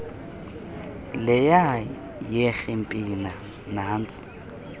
leya yekrimplina nantsi